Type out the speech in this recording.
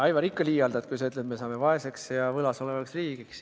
Aivar, sa ikka liialdad, kui ütled, et me jääme vaeseks ja võlgu olevaks riigiks.